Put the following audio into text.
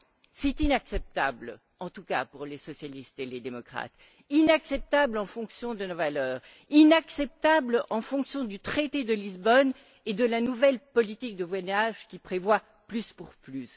C'est inacceptable, en tout cas pour les socialistes et les démocrates, inacceptable en fonction de nos valeurs, inacceptable en fonction du traité de Lisbonne et de la nouvelle politique de voisinage qui prévoit plus pour plus.